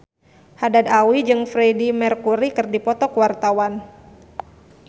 Haddad Alwi jeung Freedie Mercury keur dipoto ku wartawan